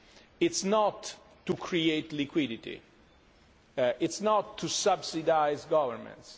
It is not to create liquidity, it is not to subsidise governments